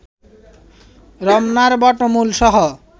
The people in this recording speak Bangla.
রমনা বটমূলসহ